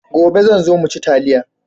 Gobe zan zo mu ci taliya.